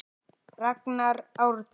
Ragnar Árni.